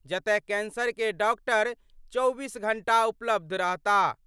जतय कैंसर के डॉक्टर 24 घंटा उपलब्ध रहताह।